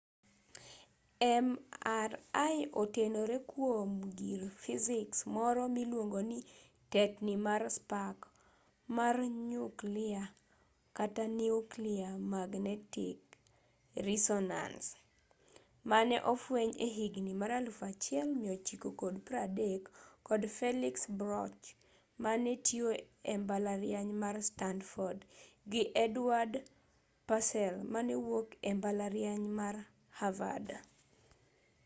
mri otenore kuom gir fisiks moro miluongo ni tetni mar spak mar nyuklia kata nuclear magnetic reesonance nmr mane ofweny e higni mag 1930 kod felix bloch mane tiyo e mbalariany mar stanford gi edward purcell mane wuok e mbalariany mar havard